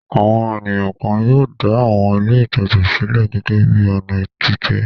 Àwọn ènìyàn kan yóò dá àwọn ilé-ìtajà sílẹ̀ gẹ́gẹ́ bí i ọ̀nà àtijẹ.